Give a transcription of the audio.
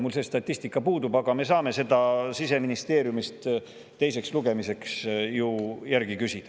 Mul see statistika puudub, aga me saame seda Siseministeeriumist teiseks lugemiseks järgi küsida.